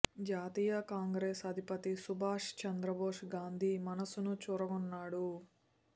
జాతీయ కాంగ్రెసు అధిపతి సుభాష్ చంద్రబోసు గాంధీ మనస్సును చూరగొన్నాడు